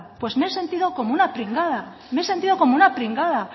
pues me he sentido como una pringada me he sentido como una pringada